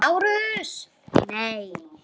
LÁRUS: Nei!